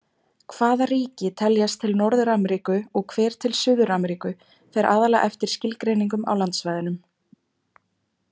Hvaða ríki teljast til Norður-Ameríku og hver til Suður-Ameríku fer aðallega eftir skilgreiningum á landsvæðunum.